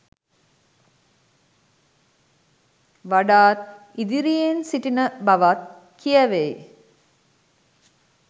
වඩාත් ඉදිරියෙන් සිටින බවත් කියැවෙයි.